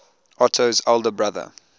otto's elder brother